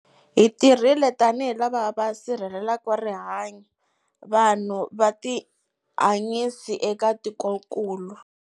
Hi tirhile tanihi lava va sirhelelaka rihanyu, vanhu na vutihanyisi eka tikokulu.